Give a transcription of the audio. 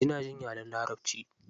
Ina jin yaren larabci.